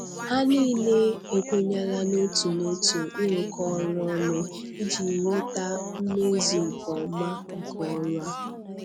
Ha niile ekwenyela n'otu n'otu ịrụkọ ọrụ ọnụ iji nweta mmezu nke ọma nke ọrụ a.